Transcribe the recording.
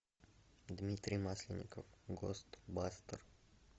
дмитрий масленников гост бастер